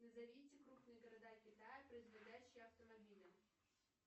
назовите крупные города китая производящие автомобили